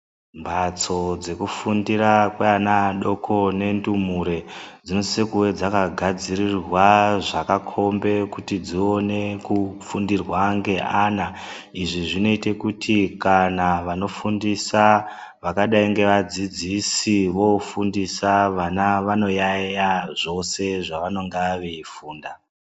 Mbatso dzekufundira kweana adoko nendumure dzinosise kuve dzakagadzirirwa zvkakombe kuti dzione kufundirwa ngeana. Izvi zvinoite kuti kana vanofundisa vakadai ngevadzidzisi voofundisa vana vanoyaiya zvose zvavanonga veifunda.